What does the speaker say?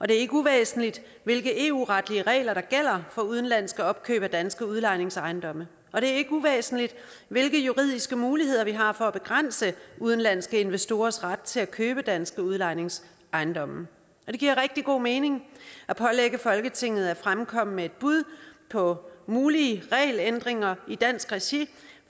det er ikke uvæsentligt hvilke eu retlige regler der gælder for udenlandske opkøb af danske udlejningsejendomme og det er ikke uvæsentligt hvilke juridiske muligheder vi har for at begrænse udenlandske investorers ret til at købe danske udlejningsejendomme det giver rigtig god mening at pålægge folketinget at fremkomme med et bud på mulige regelændringer i dansk regi